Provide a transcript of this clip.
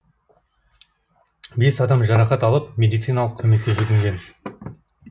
бес адам жарақат алып медициналық көмекке жүгінген